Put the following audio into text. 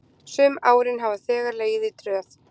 Sum árin hafa þeir legið í tröð.